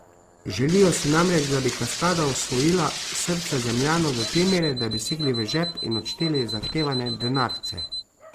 Želijo si namreč, da bi cascada osvojila srca zemljanov do te mere, da bi segli v žep in odšteli zahtevane denarce.